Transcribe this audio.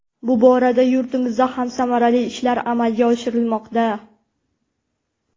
Bu borada yurtimizda ham samarali ishlar amalga oshirilmoqda.